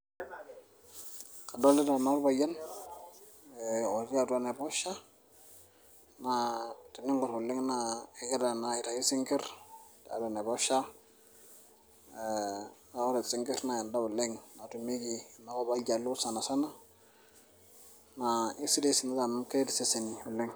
kadolita naa orpayian otii atua enaiposha naa teningorr oleng naa kegira naa aitayu isinkirr tiatua enaiposha naa ore isinkirr naa endaa oleng natumieki enakop oljaluo sana sana naa isidai isinkirr amu keret iseseni oleng.